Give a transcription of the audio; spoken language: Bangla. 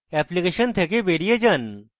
অ্যাপ্লিকেশন থেকে বেরিয়ে যান